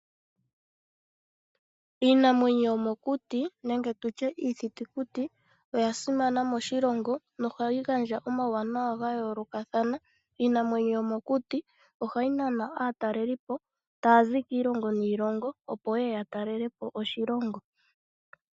Iinamwenyo yomokuti nenge tutye iithitukuti oya simana moshilongo oshoka na ohayi gandja omawuwanawa ga yoolokathana. Iinamwenyo yomokuti ohayi nana aatalelipo taya zi kiilongo niilonga opo yeye ya talelepo oshilongo.